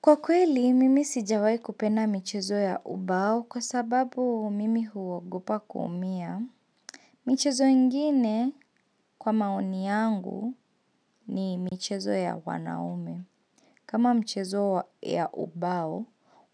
Kwa kweli, mimi sijawahi kupenda michezo ya ubao kwa sababu mimi huogopa kuumia. Michezo ingine kwa maoni yangu ni michezo ya wanaume. Kama mchezo ya ubao,